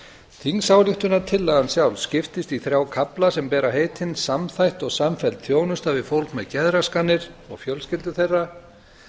þingsályktunartillagan sjálf skiptist í þrjá kafla sem bera heitin samþætt og samfelld þjónusta við fólk með geðraskanir og fjölskyldur þeirra